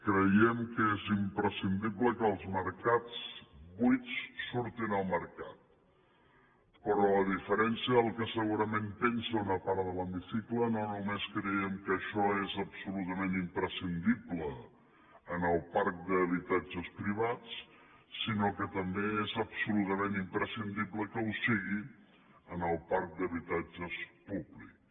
creiem que és imprescindible que els habitatges buits surtin al mercat però a diferència del que segurament pensa una part de l’hemicicle no només creiem que això és absolutament imprescindible en el parc d’habitatges privats sinó que també és absolutament imprescindible que ho sigui en el parc d’habitatges públics